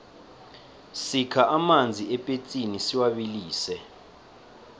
sikha amanzi epetsini siwabilise